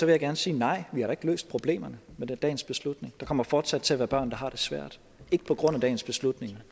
jeg gerne sige nej vi har da ikke løst problemerne med dagens beslutning der kommer fortsat til at være børn der har det svært ikke på grund af dagens beslutning